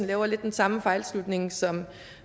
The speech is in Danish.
laver den samme fejlslutning som